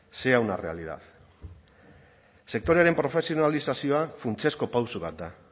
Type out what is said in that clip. sea una realidad sektorearen profesionalizazioa funtsezko pauso bat da